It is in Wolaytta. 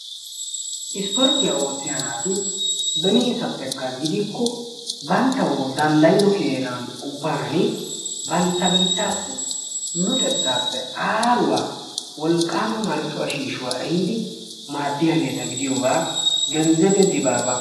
isporttiyaa ootiya naati beniseppekka gidikko banttaw danddayido keena ubbaan bantta biittassi luxettappe aaruwaa wolqqaama marccuwa shiishshuwaa ehiidi maaddiyaageeta gidiyooga Genzebe Dibaaba ...